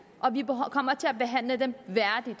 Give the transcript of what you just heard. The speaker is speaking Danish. og vi kommer til at behandle dem værdigt